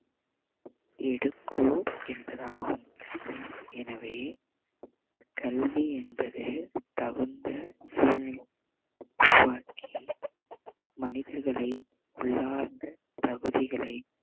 எடுக்கோ என்பதாகும் எனவே கல்வி என்பது தகுந்த சூழ்நிலையை உருவாக்கி மனிதர்களை உள்ளார்ந்து தகுதிகளை